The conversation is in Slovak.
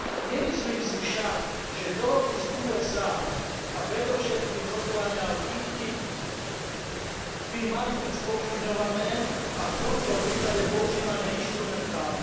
Nemyslím si však, že dohody s USA, a predovšetkým rokovania o TTIP by mali byť spochybňované a v tomto prípade používané inštrumentálne.